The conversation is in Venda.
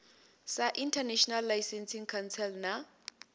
sa international licensing council na